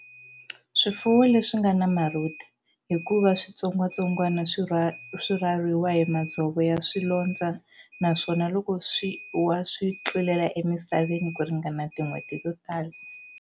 Swifuwo leswi nga na marhuda, hikuva switsongwatsongwana swi rhwariwa hi madzovo ya swolondzo naswona loko swi wa swi tlulela emisaveni ku ringana tin'hweti to tala.